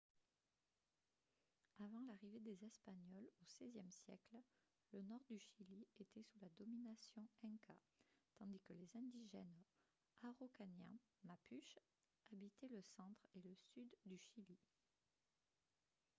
avant l’arrivée des espagnols au xvie siècle le nord du chili était sous la domination inca tandis que les indigènes araucaniens mapuche habitaient le centre et le sud du chili